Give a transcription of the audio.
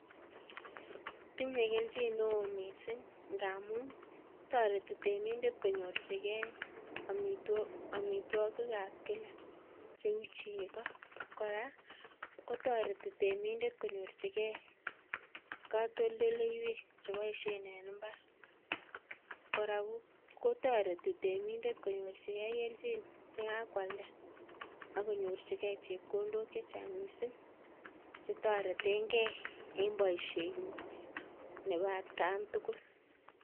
Tinye kelyin neo missing ng'amun toreti temindet konyorjigen omitwogik ab kila, cheu chego, kora kotoreti temindet kony'orjigen katoldoleywek cheboisien en imbar, kora ko toreti temindet konyorjigen keljin yekakwalda ak konyorjigen chebkondok chechang missing chetoretengen en boisienyin nebo atkantugul